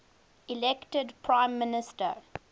elected prime minister